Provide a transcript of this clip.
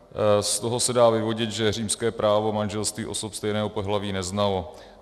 Z toho se dá vyvodit, že římské právo manželství osob stejného pohlaví neznalo.